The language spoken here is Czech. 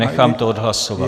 Nechám to odhlasovat.